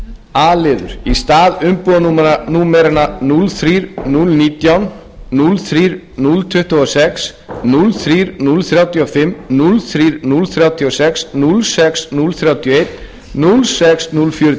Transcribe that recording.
a liður í stað umbúðanúmeranna núll þrír núll nítján núll þrír núll tuttugu og sex núll þrír núll þrjátíu og fimm núll þrír núll þrjátíu og sex núll sex núll þrjátíu og eitt núll sex núll fjörutíu og eitt núll